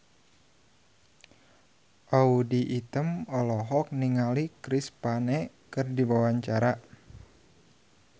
Audy Item olohok ningali Chris Pane keur diwawancara